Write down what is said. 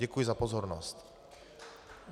Děkuji za pozornost.